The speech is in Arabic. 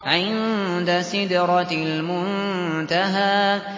عِندَ سِدْرَةِ الْمُنتَهَىٰ